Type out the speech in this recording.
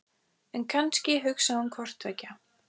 En kannski hugsaði hún hvort tveggja.